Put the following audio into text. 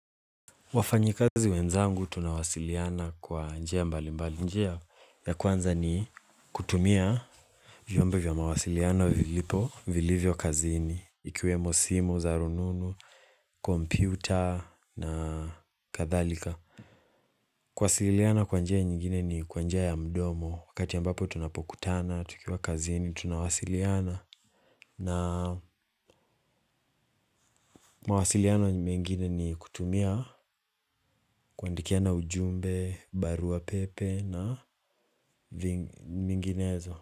Wafanyikazi wenzangu tunawasiliana kwa njia mbali mbali. Njia ya kwanza ni kutumia vyombo vya mawasiliano vilipo, vilivyo kazini, ikiwemo simu, za rununu, kompyuta na kadhalika. Kuwasiliana kwa njia nyingine ni kwa njia ya mdomo, wakati ambapo tunapokutana, tukiwa kazini, tunawasiliana. Na mawasiliano ni mingine ni kutumia kuandikiana ujumbe, barua pepe na minginezo.